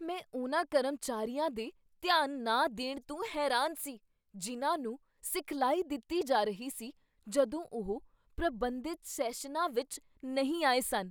ਮੈਂ ਉਨ੍ਹਾਂ ਕਰਮਚਾਰੀਆਂ ਦੇ ਧਿਆਨ ਨਾ ਦੇਣ ਤੋਂ ਹੈਰਾਨ ਸੀ ਜਿਨ੍ਹਾਂ ਨੂੰ ਸਿਖਲਾਈ ਦਿੱਤੀ ਜਾ ਰਹੀ ਸੀ ਜਦੋਂ ਉਹ ਪ੍ਰਬੰਧਿਤ ਸੈਸ਼ਨਾਂ ਵਿੱਚ ਨਹੀਂ ਆਏ ਸਨ।